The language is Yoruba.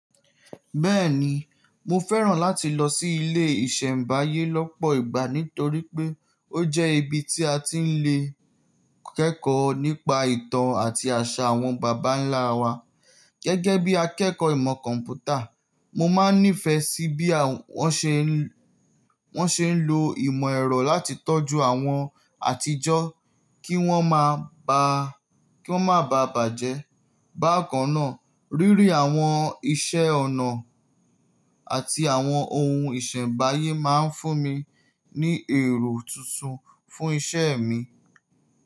Bẹ́ẹ̀ni, mo fẹ́ràn láti lọ sí ilé ìṣẹ̀mbáyé lọ́pọ̀ ìgbà nítorí pé ó jẹ́ ibi tí a ti ń lè kẹ́kọ̀ọ́ nípa ìtàn àti àṣà àwọn bàbá ńlá wa. Gẹ́gẹ́ bí akẹ́kọ̀ọ́ ìmọ̀ kọ̀m̀pútà, mo máa nífẹ̀ẹ́ sí bí wọ́n ṣe ń lo ìmọ̀ ẹ̀rọ láti tọ́jú àwọn àtijó ki won maa kí wọ́n má bàa bàjẹ́. Bákan náà, rírí àwọn iṣẹ́ ọnà àti àwọn ohun ìṣẹ̀mbáyé máa ń fún mi ní èrò tuntun fún iṣẹ́ mi.